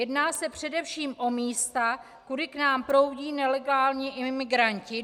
Jedná se především o místa, kudy k nám proudí nelegální imigranti.